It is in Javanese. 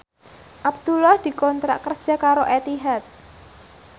Abdullah dikontrak kerja karo Etihad